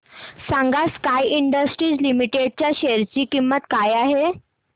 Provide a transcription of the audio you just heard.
सांगा Sky Industries Limited च्या share ची किंमत काय आहे